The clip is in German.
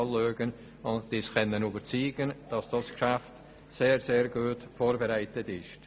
Wir konnten uns davon überzeugen, dass das Geschäft sehr, sehr gut vorbereitet ist.